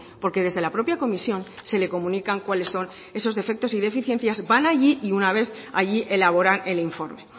porque desde la propia comisión se le comunican cuáles son esos defectos y deficiencias van allí y una vez allí elaboran el informe